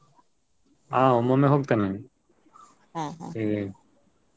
ಆ ಒಮ್ಮೊಮ್ಮೆ ಹೋಗ್ತೇನೆ ನಾನು .